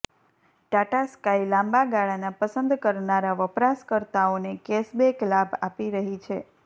Tata Sky લાંબા ગાળાના પસંદ કરનારા વપરાશકર્તાઓને કેશબેક લાભ આપી રહી છે